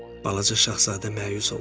Balaca Şahzadə məyus olmuşdu.